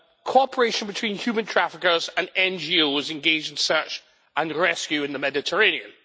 Cooperation between human traffickers and NGOs engaged in search and rescue in the Mediterranean.